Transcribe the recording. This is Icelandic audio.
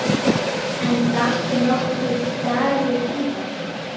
En datt nokkuð Dagur íða?